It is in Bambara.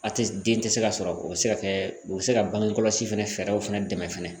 A tɛ den tɛ se ka sɔrɔ o bɛ se ka kɛ o bɛ se ka bange kɔlɔsi fana fɛɛrɛw fana dɛmɛ fana